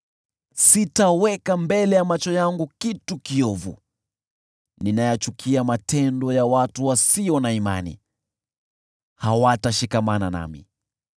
Sitaweka mbele ya macho yangu kitu kiovu. Ninayachukia matendo ya watu wasio na imani; hawatashikamana nami.